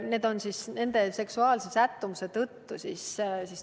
Neid tuuakse esile nende seksuaalse sättumuse tõttu.